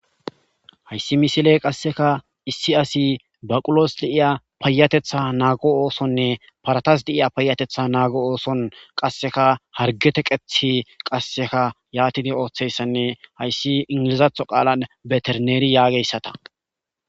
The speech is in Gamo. Hayssi misiley qasseka issi asi baqulos de7iya payatetha naago oosonne paratas deiya payatetha naago ooson qasseka hargeteqethi qasseka yaatidi ooththeyssanne hayssi ingilizatho qaalan beterneeri yaageyssata.